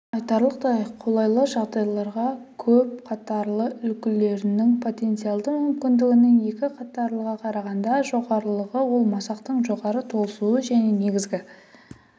айтарлықтай қолайлы жағдайларда көп қатарлы үлгілерінің потенциалды мүмкіндігінің екі қатарлыға қарағанда жоғарылығы ол масақтың жоғары толысуы және негізгі